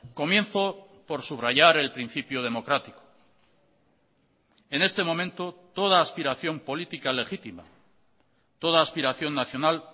comienzo por subrayar el principio democrático en este momento toda aspiración política legítima toda aspiración nacional